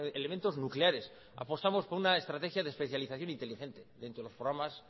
elementos nucleares apostamos por una estrategia de especialización inteligente dentro de los programas